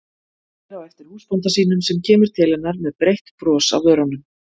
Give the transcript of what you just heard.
Horfir á eftir húsbónda sínum sem kemur til hennar með breitt bros á vörunum.